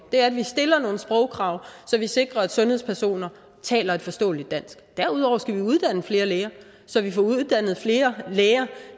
vi stiller nogle sprogkrav så vi sikrer at sundhedspersoner taler et forståeligt dansk derudover skal vi uddanne flere læger så vi får uddannet flere læger